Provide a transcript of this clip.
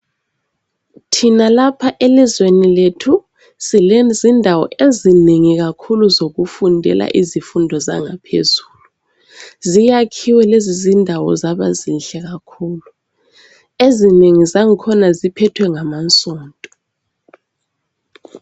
Thina lapha elizweni lethu silezindawo ezinengi kakhulu zokufundela izifundo zangaphezulu .Ziyakhiwe lezo zindawo zaba zinhle kakhulu ezinengi zangikhona ziphethwe ngamasonto.